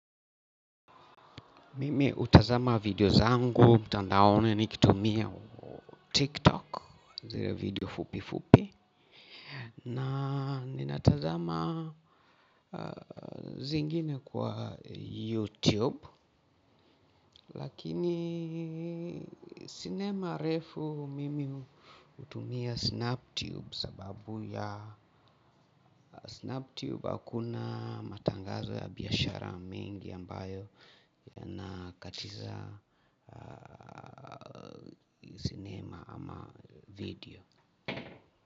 Mimi utazama video zangu mtandaoni nikitumia tiktok zile video fupi fupi na ninatazama zingine kwa youtube lakini sinema refu mimi utumia snap tube sababu ya snap tube akuna matangazo ya biashara mengi ambayo yanakatiza sinema ama video.